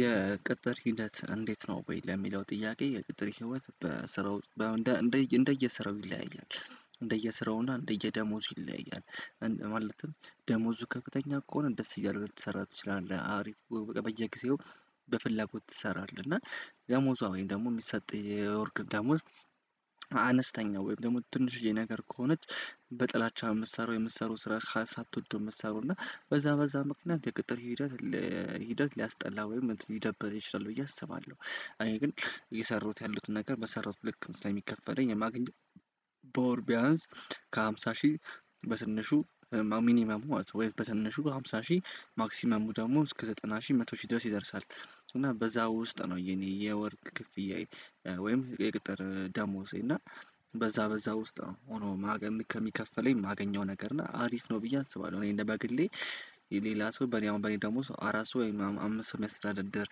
የቅጥር ሂደት እንዴት ነው ወይ ለሚለው ጥያቄ? የቅጥር ህይወት በስራው እንደየ እንደየ ስራው ይለያያል እንደየስራው እና እንደየ ደሞዙ ይለያያል። ማለትም ደሞዙ ከፍተኛ ከሆነ ደስ እያለ ልትሰራ ትችላለህ አሪፍ በየጊዜው በፍላጎት ትሰራለህ። እና ደሞዟ ወይን ደግሞ የሚሰጥ የወርቅ ደሞዝ። አነስተኛ ወይም ደግሞ ትንሽዬ ነገር ከሆነች በጥላቻ የምትሰራው የምትሰራው ስራ ሳትወደው የምትሰራው እና በዛ በዛ ምክንያት የቅጥር ሂደት ሂደት ሊያስጠላ ወይም ሊደብር ይችላል ብዬ አስባለሁ። እኔ ግን እየሰራሁት ያለሁትን ነገር በሰራሁት ልክ ስለሚከፈለኝ የማገኘው። በወር ቢያንስ ከሃምሳ ሺህ በትንሹ ሚኒመም ወይም በተነሹ ሃምሳ ሺህ ማክሲመሙ ደግሞ እስከ ዘጠና ሺህ መቶ ሺህ ድረስ ይደርሳል። እና በዛ ውስጥ ነው የኔ የወር ክፍያዬ። ወይም የቅጥር ደሞዜ እና በዛ በዛ ውስጥ ነው ሆኖ ማገም ከሚከፈለኝ የማገኘው ነገር እና አሪፍ ነው ብዬ አስባለሁ። እኔ እንደ በግሌ የሌላ ሰው በኔ አሁን በኔ ደሞዝ አራት ሰው አምስት ሰው የሚያስተዳድር ደር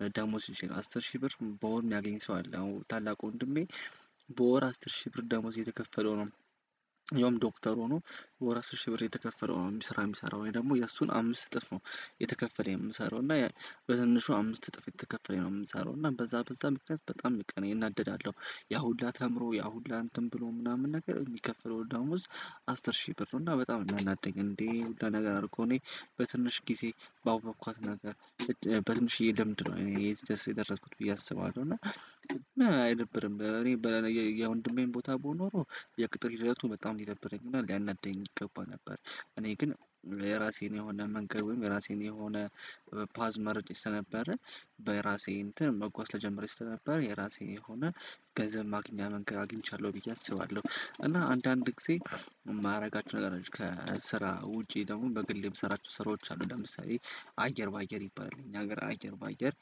ደር ደሞዝ ሲችል አስር ሺህ ብር በወር የሚያገኝ ሰው አለ። አሁን ታላቁ ወንድሜ በወር አስር ሺህ ብር ደሞዝ እየተከፈለው ነው። ያውም ዶክተር ሆኖ ወር አስር ሺህ ብር የተከፈለው የሚሰራ የሚሰራ ወይ ደግሞ የእሱን አምስት እጥፍ ነው። የተከፈለኝ የምሰራው እና በትንሹ አምስት እጥፍ የተከፈለኝ ነው የምሰራው እና በዛ በዛ ምክንያት በጣም እናደዳለሁ። ያ ሁላ ተምሮ ያ ሁላ እንትን ብሎ ምናምን ነገር የሚከፍለው ደሞዝ አስር ሺ ብር ነው። እና በጣም እናናደኝ እንዴ ያን ሁላ ነገር አድርጎ እኔ በትንሽ ጊዜ ባወቅኳት ነገር በትንሽዬ ለምንድነው እኔ እዚህ ደርስ የደረስኩት ብዬ አስባለሁ። እና ነው እና አይደብርም በለኔ በኔ የወንድሜን ቦታ ብሆን ኖሮ የቅጥር ሂደቱ በጣም ሊደብረኝ እና ሊያናድደኝ ይገባ ነበር። እኔ ግን የራሴን የሆነ መንገድ ወይም የራሴን የሆነ ፓዝ መርጬ ስለነበረ በራሴ እንትን መጓዝ ጀመሬ ስለነበረ የራሴ የሆነ ገንዘብ ማግኛ መንገድ አግኝቻለሁ ብዬ አስባለሁ። እና አንዳንድ ጊዜ የማደርጋችሁ ነገሮች ከስራ ውጪ ደግሞ በግል የምሰራቸው ስራዎች አሉ። ለምሳሌ አየር በአየር ይባላል እኛ ሀገር አየር በአየር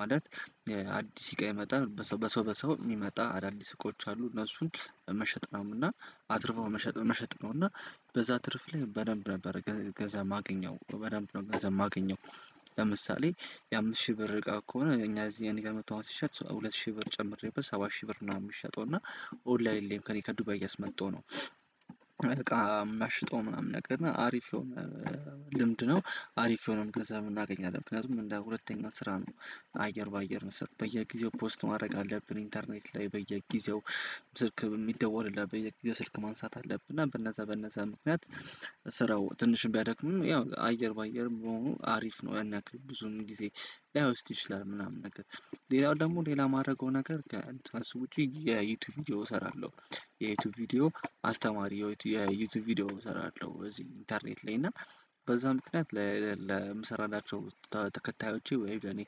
ማለት አዲስ ሲቃ የመጣ በሰው በሰው የሚመጣ አዳዲስ እቃዎች አሉ። እነሱን መሸጥ ነውና አትርፈው መሸጥ መሸጥ ነውና በዛ ትርፍ ላይ በደንብ ነበር እገዛ ማግኘው በደንብ ነው ገንዘብ የማገኘው። ለምሳሌ የአምስት ሺህ ብር እቃ ከሆነ እኛ እዚህ እኔ ጋር መጥቶ አሁን ሲሸጥ ሁለት ሺህ ብር ጨምሬበት ሰባት ሺህ ብር ምናምን የሚሸጠው እና ኦንላይን ከእኔ ከዱባይ እያስመጣሁ ነው። እቃ የማሸጠው ምናምን ነገር እና አሪፍ ልምድ ነው አሪፍ የሆነ ገንዘብም እናገኛለን ምክንያቱም እንደ ሁለተኛ ስራ ነው። አየር በአየር መሰለኝ በየጊዜው ፖስት ማድረግ አለብን ኢንተርኔት ላይ በየጊዜው ስልክ የሚደወልልን በየጊዜው ማንሳት አለብን እና በነዛ በነዛ ምክንያት ስራው ትንሽም ቢያደክምም ያው አየር በአየርም በመሆኑ አሪፍ ነው። ያን ያክል ብዙም ጊዜ ላይወስድ ይችላል ምናምን ነገር ሌላው ደግሞ ሌላ የማደርገው ነገር ከትራስ ውጪ የዩቲዩብ ቪዲዮ እሰራለሁ። የዩቲዩብ ቪዲዮ አስተማሪው የዩቲዩብ ቪዲዮ እሰራለሁ በዚህ ኢንተርኔት ላይ እና በዛ ምክንያት ለምሰራላቸው ተከታዮቼ ወይም ለኔ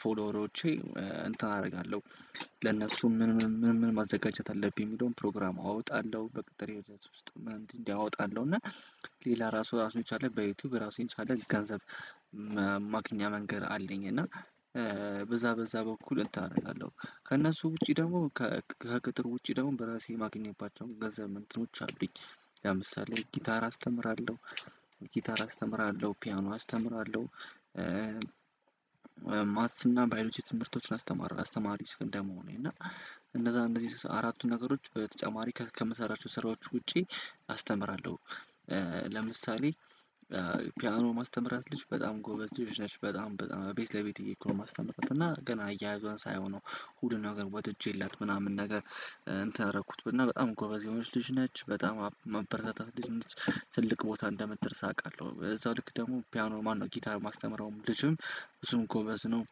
ፎሎወሮቼ እንትን አደርጋለሁ። ለነሱ ምን ምን ምን ምን ማዘጋጀት አለብኝ የሚለውን ፕሮግራም አወጣለሁ በቅጥር ውስጥ እንዲህ አወጣለሁ እና ሌላ ራሱ ራሱ የቻለ በዩቲዩብ ራሱ የቻለ ገንዘብ ማግኛ መንገድ አለኝ። እና በዛ በዛ በኩል እንትን አደርጋለሁ ከእነሱ ውጪ ደግሞ ከቅጥር ውጪ ደግሞ በራሴ የማገኝባቸውን ገንዘብ እንትኖች አሉኝ። ለምሳሌ ጊታር አስተምራለሁ ጊታር አስተምራለሁ ፒያኖ አስተምራለሁ። ማትስና ባዮሎጂ ትምህርቶችን አስተማሪ እስከ እንደመሆኔ እና እነዛ እንደዚህ አራቱን ነገሮች በተጨማሪ ከምሰራቸው ስራዎች ውጪ አስተምራለሁ። ለምሳሌ ፒያኖ የማስተምራት ልጅ በጣም ጎበዝ ልጅ ነች በጣም በጣም ቤት ለቤት እየሄድኩ ነው የማስተምር እና ገና አያያዟን ሳየው ነው። ሁሉን ነገር ወድጄላት ምናምን ነገር እንትን አረኩት እና በጣም ጎበዝ የሆነች ልጅ ነች በጣም የማበረታታት ልጅ ነች። ትልቅ ቦታ እንደምትደርስ አውቃለሁ በዛው ልክ ደግሞ ፒያኖ ማነው ጊታር የማስተምረውም ልጅም እሱም ጎበዝ ነው።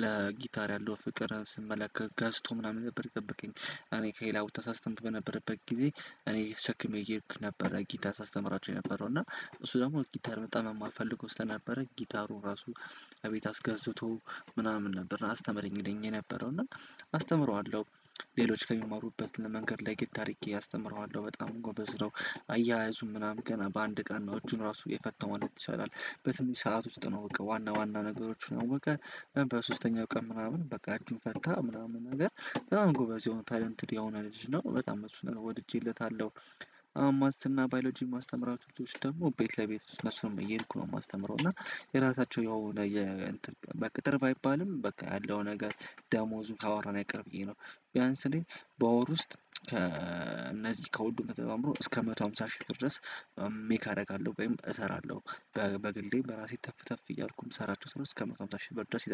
ለጊታር ያለው ፍቅር ስመለከት ገዝቶ ምናምን ነበር የጠበቀኝ። እኔ ከሌላ ቦታ ሳስተምር በነበረበት ጊዜ እኔ ተሸክሜ እየሄድኩ ነበር ጊታር ሳስተምራቸው የነበረው እና እሱ ደግሞ ጊታር በጣም የማልፈልገው ስለነበረ ጊታሩ ራሱ እቤት አስገዝቶ ምናምን ነበር አስተምረኝ ይለኝ የነበረው እና አስተምረዋለሁ። ሌሎች ከሚማሩበት መንገድ ለየት አድርጌ አስተምረዋለሁ በጣም ጎበዝ ነው። አያያዙም ምናምን ገና በአንድ ቀን ነው እጁን ራሱ የፈታው ማለት ይቻላል በትንሽ ሰዓት ውስጥ ነው በቃ ዋና ዋና ነገሮችን አወቀ። እና በሶስተኛው ቀን ምናምን በቃ እጁን ፈታ ምናምን ነገር በጣም ጎበዝ የሆነ ታለንትድ የሆነ ልጅ ነው በጣም እሱን ወድጄለታለሁ። አሁንማትስና ባዮሎጂ የማስተምራቸው ልጅች ደግሞ ቤት ለቤት ውስጥ እነሱንም እየሄድኩ ነው የማስተምረው እና የራሳቸው ያው ለየእንትን በቅጥር ባይባልም በቃ ያለው ነገር ደሞዙ ካወራን አይቀር ብዬ ነው። ቢያንስ እኔ ላይ በወር ውስጥ ከእነዚህ ከሁሉ ተደማምሮ እስከ መቶ ሃምሳ ሺህ ድረስ ሜክ አደርጋለሁ ወይም እሰራለሁ። በግሌ በራሴ ተፍ ተፍ እያልኩኝ የምሰራቸው ስራዎች እስከ መቶ ሃምሳ ሽህ ብር ድረስ ይደርሳል